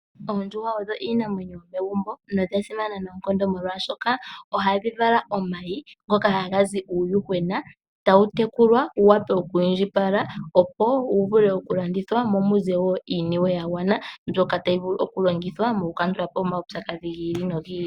Oondjuhwa odho iinamwenyo yomegumbo nodha simana noonkondo molwashoka ohadhi vala omayi, ngoka haga zi uuyuhwena tawu tekulwa wuwape okwiindjipala opo wuvule okulandithwa, mo muze wo iiniwe yagwana mbyoka tayi vulu okulongithwa mokukandulapo omawupyakadhi gi ili nogi ili.